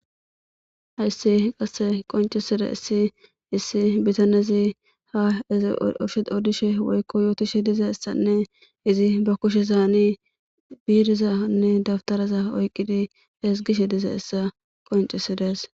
Hayssi qasse qonciside issi issi bitanezi ha ezishe odishe woykko yootishe diza issanne izi ba kushe zaani biirizanne dabtaraza oyqqidi esgishe diza issa qoncisidees.